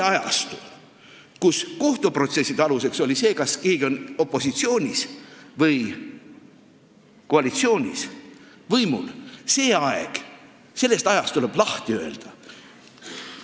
Ajastust, kus kohtuprotsesside tulemused olenesid sellest, kas keegi on opositsioonis või koalitsioonis võimul, tuleb lahti öelda.